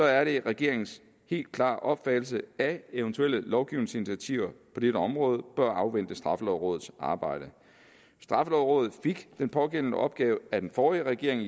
er det regeringens helt klare opfattelse at eventuelle lovgivningsinitiativer på dette område bør afvente straffelovrådets arbejde straffelovrådet fik i den pågældende opgave af den forrige regering